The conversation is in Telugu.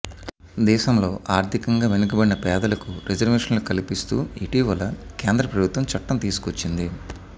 దేశంలో ఆర్ధికంగా వెనుకబడిన పేదలకు రిజర్వేషన్లు కల్పిస్తూ ఇటీవల కేంద్ర ప్రభుత్వం చట్టం తీసుకొచ్చింది